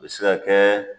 U bɛ se ka kɛ